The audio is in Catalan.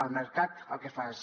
el mercat el que fa és